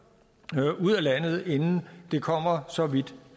ud af landet inden det kommer så vidt